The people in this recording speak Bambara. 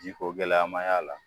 Ji ko gɛlɛya ma y'a la